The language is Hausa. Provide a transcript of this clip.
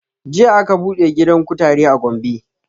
Jiya aka buɗe gidan kutare a gombe